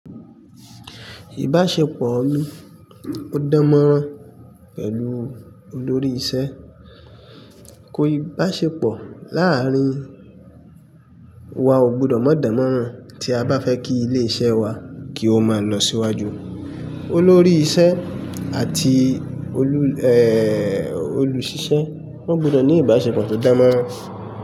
Ìbáṣepọ̀ mi, ó dánmọ́rán pẹ̀lú olórí iṣẹ́. Ìbáṣepọ̀ láàárín wa ò gbọdọ̀ mọ́ dánmọ́rán tí a bá fẹ́ kí ilé iṣẹ́ wa kí ó máa lọ síwájú. Olórí iṣẹ́ àti olùṣíṣẹ́, wọ́n gbọdọ̀ ní ìbáṣepọ̀ tó dánmọ́rán.